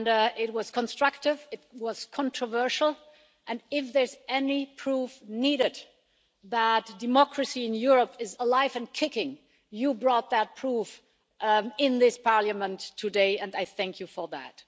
It was constructive, it was controversial, and if there's any proof needed that democracy in Europe is alive and kicking, you brought that proof in this Parliament today and I thank you for that.